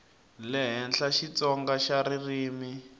le henhla xitsonga xa ririmi